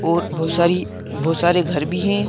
और बहुत सारी बहुत सारे घर भी हैं।